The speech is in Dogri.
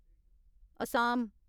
असाम